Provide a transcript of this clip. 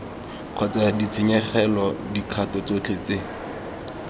kgotsa ditshenyegelo dikgato tsotlhe tse